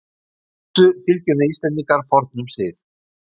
Í þessu fylgjum við Íslendingar fornum sið.